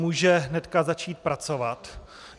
Může hnedka začít pracovat.